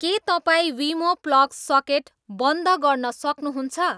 के तपाईँ विमो प्लग सकेट बन्द गर्न सक्नुहुन्छ